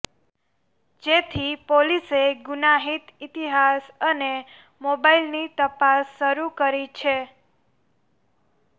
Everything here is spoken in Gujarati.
જેથી પોલીસે ગુનાહિત ઈતિહાસ અને મોબાઈલની તપાસ શરૂ કરી છે